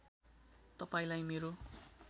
तपाईँलाई मेरो